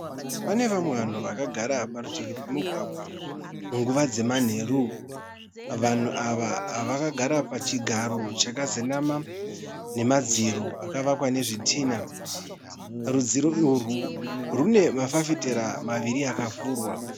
Pane vamwe vanhu vakagara parutivi pemugwagwa munguva dzemanheru vanhu ava vakagara pachigaro chakazendama nemadziro akavakwa nezvtinha. Rudziro urwu rune mafafitera maviri akavhurwa.